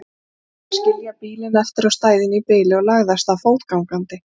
Hann ákvað að skilja bílinn eftir á stæðinu í bili og lagði af stað fótgangandi.